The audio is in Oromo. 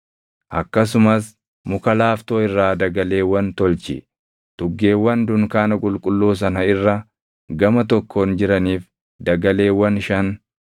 “Akkasumas muka laaftoo irraa dagaleewwan tolchi; tuggeewwan dunkaana qulqulluu sana irra gama tokkoon jiraniif dagaleewwan shan,